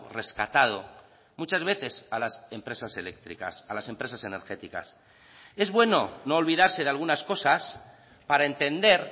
rescatado muchas veces a las empresas eléctricas a las empresas energéticas es bueno no olvidarse de algunas cosas para entender